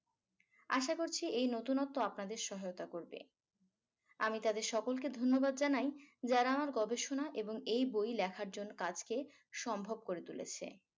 আশা করছি এই নতুনত্ব আপনাদের সহায়তা করবে আমি তাদের সকলকে ধন্যবাদ জানাই যারা আমার গবেষণা এবং এই বই লেখার জন্য কাজকে সম্ভব করে তুলেছে